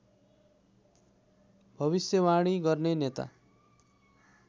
भविष्यवाणी गर्ने नेता